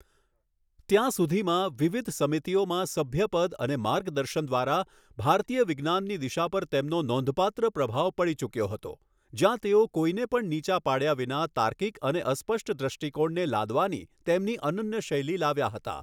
ત્યાં સુધીમાં, વિવિધ સમિતિઓમાં સભ્યપદ અને માર્ગદર્શન દ્વારા ભારતીય વિજ્ઞાનની દિશા પર તેમનો નોંધપાત્ર પ્રભાવ પડી ચૂક્યો હતો, જ્યાં તેઓ કોઈને પણ નીચા પાડ્યા વિના તાર્કિક અને અસ્પષ્ટ દૃષ્ટિકોણને લાદવાની તેમની અનન્ય શૈલી લાવ્યા હતા.